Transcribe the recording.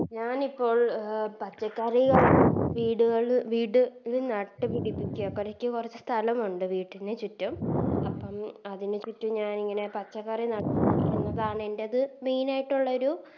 ഞാനിപ്പോൾ പച്ചക്കറി വീടുകളിൽ വീട് നട്ടുപിടിപ്പിക്ക എനിക്ക് കൊറച്ച് സ്ഥലമുണ്ട് വീട്ടിന് ചുറ്റും അപ്പൊ അതിനു ചുറ്റും ഞാനിങ്ങനെ പച്ചക്കറി എൻറെത് Main ആയിട്ടുള്ളരു